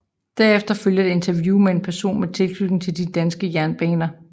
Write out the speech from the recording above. Derefter følger et interview med en person med tilknytning til de danske jernbaner